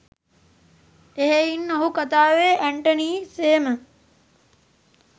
එහෙයින් ඔහු කතාවේ ඇන්ටනී සේම